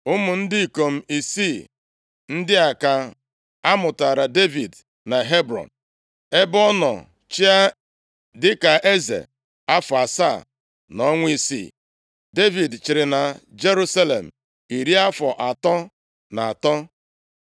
Ụmụ ndị ikom isii ndị a ka a mụtaara Devid na Hebrọn, ebe ọ nọ chịa dịka eze afọ asaa na ọnwa isii. Devid chịrị na Jerusalem iri afọ atọ na atọ.